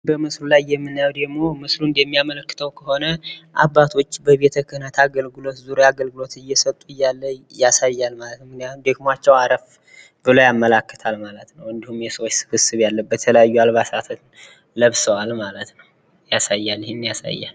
ምስሉ የሚያሳየው አባቶች በቤተ ክህነት ዙሪያ አገልግሎት እየሰጡ ሲሆን ደክምቸው አረፍ ብለው ይታያሉ። እንዲሁም ሌሎች የተለያየ ልብስ የለበሱ ሰዎች ይታያሉ።